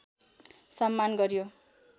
सम्मान गरियो